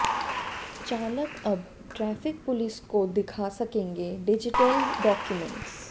चालक अब traffic police को दिखा सकेंगे डिजीटल डाक्यूमेंट्स